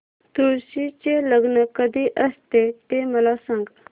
तुळशी चे लग्न कधी असते ते मला सांग